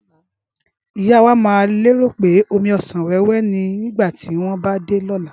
ìyá wa má lérò pé omí ọsán wéwé ni nígbàtí wón bá dé lóla